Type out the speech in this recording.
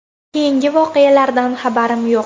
Keyingi voqealardan xabarim yo‘q.